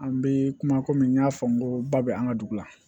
An bɛ kuma komi n y'a fɔ n ko ba bɛ an ka dugu la